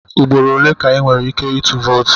Ugboro ole ka ị nwere ike ịtụ vootu?